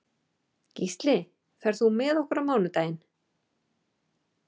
Gísli, ferð þú með okkur á mánudaginn?